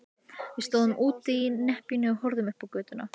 Við stóðum úti í nepjunni og horfðum upp á götuna.